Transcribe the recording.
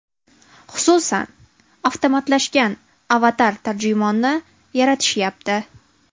Xususan, avtomatlashgan avatar-tarjimonni yaratishayapti.